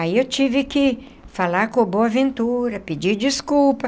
Aí eu tive que falar com o Boaventura, pedir desculpa.